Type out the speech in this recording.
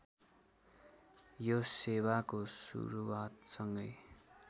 यो सेवाको सुरूवातसँगै